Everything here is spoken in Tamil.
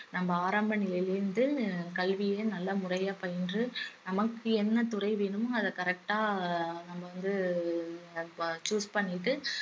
நம்ம ஆரம்ப நிலையில இருந்து கல்விய நல்லா முறையா பயின்று நமக்கு என்ன துறை வேணுமோ அத correct ஆ நம்ம வந்து ஆஹ் choose பண்ணிட்டு